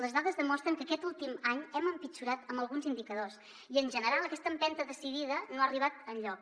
les dades demostren que aquest últim any hem empitjorat en alguns indicadors i en general aquesta empenta decidida no ha arribat enlloc